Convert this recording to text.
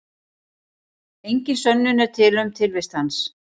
Engin sönnun er til um tilvist hans.